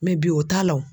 Mɛ bi o t'a la o